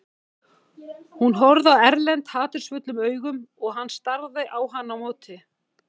Hún horfði á Erlend hatursfullum augum og hann starði á hana á móti.